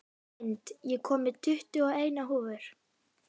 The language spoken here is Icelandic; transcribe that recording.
Lind, ég kom með tuttugu og eina húfur!